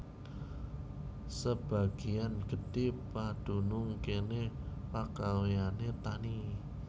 Sebagéyan gedhé padunung kéné pagawéyané tani